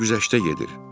Mən güzəştə gedir.